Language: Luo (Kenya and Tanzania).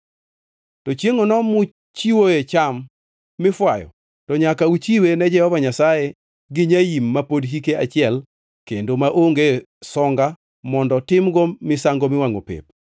To chiengʼono muchiewoe cham mifwayo to nyaka uchiwe ne Jehova Nyasaye gi nyaim ma pod hike achiel kendo maonge songa mondo timgo misango miwangʼo pep,